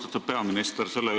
Austatud peaminister!